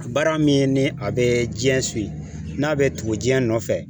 Baara min ye ni a be jiɲɛ siwi n'a be tugu jiɲɛ nɔfɛ